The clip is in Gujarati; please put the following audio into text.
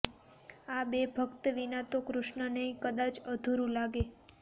આ બે ભક્ત વિના તો કૃષ્ણનેય કદાચ અધૂરું લાગે